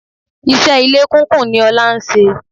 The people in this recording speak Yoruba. Iṣẹ́ ilé kúnkùn ni Ọlá ń ṣe.